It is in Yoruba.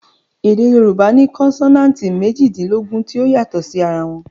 Èdè Yorùbá ní konsonanti méjìdínlógún tí ó yàtò sí ara wọn